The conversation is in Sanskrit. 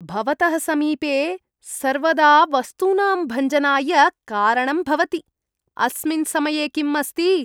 भवतः समीपे सर्वदा वस्तूनां भञ्जनाय कारणं भवति। अस्मिन् समये किम् अस्ति?